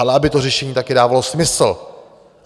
Ale aby to řešení taky dávalo smysl.